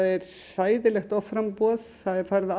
hræðilegt offramboð það er farið